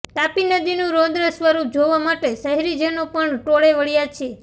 તાપી નદીનું રૌદ્ર સ્વરૂપ જોવા માટે શહેરીજનો પણ ટોળે વળ્યાં છે